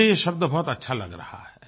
मुझे ये शब्द बहुत अच्छा लग रहा है